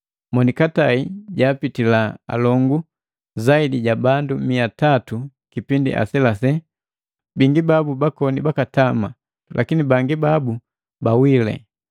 Monikatai jaapitila alongu zaidi ja bandu mia tanu kipindi aselase, bingi babu bakoni bakatama, lakini bangi babu bawile.